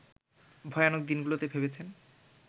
ভয়ানক দিনগুলোতে ভেবেছেন